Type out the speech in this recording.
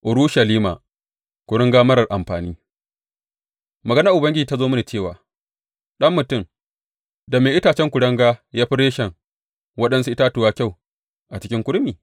Urushalima, kuringa marar amfani Maganar Ubangiji ta zo mini cewa, Ɗan mutum, da me itacen kuringa ya fi reshen waɗansu itatuwa kyau a cikin kurmi?